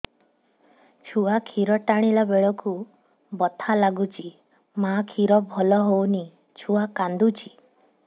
ଛୁଆ ଖିର ଟାଣିଲା ବେଳକୁ ବଥା ଲାଗୁଚି ମା ଖିର ଭଲ ହଉନି ଛୁଆ କାନ୍ଦୁଚି